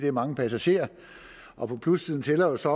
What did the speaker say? er mange passagerer og på plussiden tæller jo så